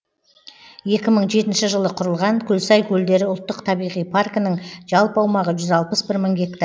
екі мың жетінші жылы құрылған көлсай көлдері ұлттық табиғи паркінің жалпы аумағы жүз алпыс бір мың гектар